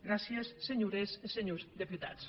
gràcies senhores e senhors deputats